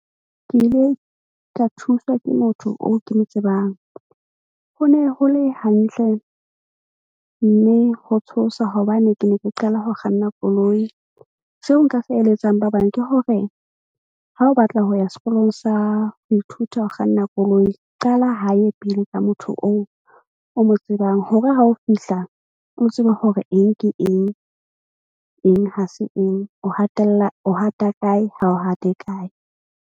Ke ile ka thuswa ke motho oo ke mo tsebang. Ho ne ho le hantle mme ho tshosa hobane ke ne ke qala ho kganna koloi. Seo nka se eletsang, ba bang ke hore ha o batla ho ya sekolong sa ho ithuta ho kganna koloi. Qala hae pele ka motho oo o mo tsebang hore ha o fihla, o tsebe hore eng ke eng. Eng, ha se eng, o hatella o hata kae ha o hate kae.